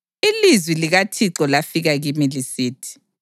Ilizwi likaThixo lafika kimi lisithi: